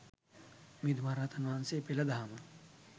මිහිඳු මහරහතන් වහන්සේ පෙළ දහම